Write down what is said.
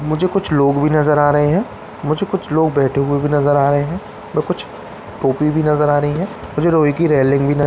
मुझे कुछ लोग भी नज़र आ रहे है मुझे कुछ लोग बैठे हुए भी नज़र आ रहे है और कुछ टोपी भी नज़र आ रही है मुझे रोई की रेलिंग --